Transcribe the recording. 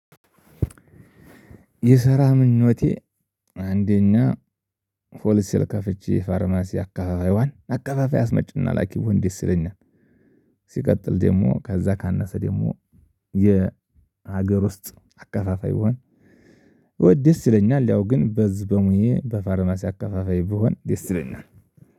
የሰራምኞቴ አንደኛ ሆልሴል ከፍቼ ፋርማሲ አከፋፋይዋን አከፋፋይ አስመጭና ላኪ ብሆን ደስ ይለኛል። ሲቀጥል ደግሞ ከዛ ካነሰ ደግሞ የሀገር ውስጥ አከፋፋይ ብሆን። ደስ ይለኛል ያው ግን በዝ በሙዬ በፋርማሲ አከፋፋይ ብሆን ደስ ይለናል።